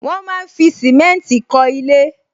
Wọn máa ń fi simenti kọ ilé